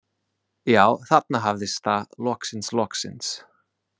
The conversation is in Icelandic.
Já, þarna hafðist það, loksins, loksins.